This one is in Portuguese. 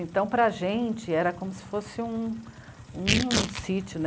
Então, para a gente, era como se fosse um...um sítio.